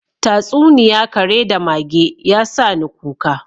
Tatsuniya kare da mage, ya sani kuka: